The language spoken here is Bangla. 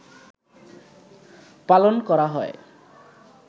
পালন করা হয়